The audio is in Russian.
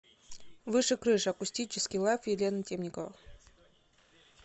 выше крыш акустический лайв елена темникова